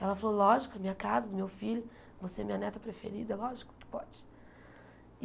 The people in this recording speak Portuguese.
Ela falou, lógico, é minha casa, do meu filho, você é minha neta preferida, lógico que pode.